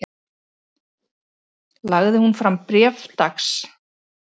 Lagði hún fram bréf dags